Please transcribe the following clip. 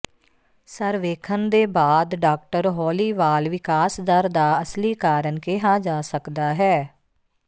ਸਰਵੇਖਣ ਦੇ ਬਾਅਦ ਡਾਕਟਰ ਹੌਲੀ ਵਾਲ ਵਿਕਾਸ ਦਰ ਦਾ ਅਸਲੀ ਕਾਰਨ ਕਿਹਾ ਜਾ ਸਕਦਾ ਹੈ